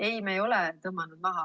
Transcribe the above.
Ei, me ei ole tõmmanud seda maha.